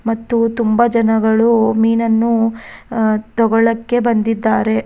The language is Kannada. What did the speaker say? ಮತ್ತು ತುಂಬಾ ಜನಗಳು ಮೀನನ್ನು ತಗೋಳಕ್ಕೆ ಬಂದಿದ್ದಾರೆ.